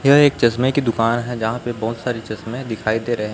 यह एक चश्मे की दुकान है जहां पे बहोत सारी चश्मे दिखाई दे रहे है।